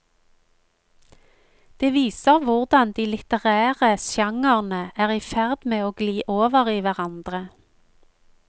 Det viser hvordan de litterære genrene er i ferd med å gli over i hverandre.